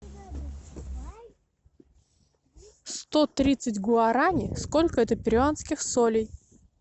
сто тридцать гуарани сколько это перуанских солей